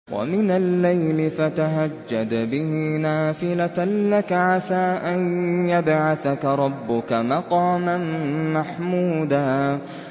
وَمِنَ اللَّيْلِ فَتَهَجَّدْ بِهِ نَافِلَةً لَّكَ عَسَىٰ أَن يَبْعَثَكَ رَبُّكَ مَقَامًا مَّحْمُودًا